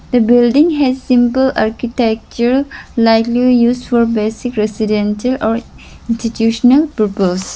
the building has simple architecture likely use for basic residential or institutional purpose.